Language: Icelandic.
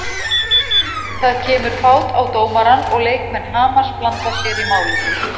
Það kemur fát á dómarann og leikmenn Hamars blanda sér í málið.